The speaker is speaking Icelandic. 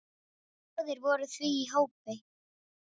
Báðir voru því í hópi